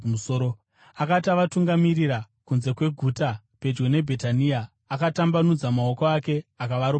Akati avatungamirira kunze kweguta pedyo neBhetania, akatambanudza maoko ake akavaropafadza.